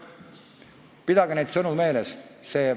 Pidage neid sõnu meeles.